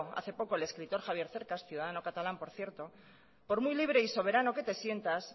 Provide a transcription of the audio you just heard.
hace poco el escritor javier cercas ciudadano catalán por cierto por muy libre y soberano que te sientas